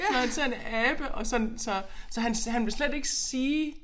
Når han ser en abe og sådan så så han han vil slet ikke sige